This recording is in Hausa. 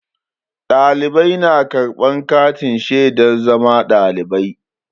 Ɗalibai na karɓan katin shaidar zama ɗalibai.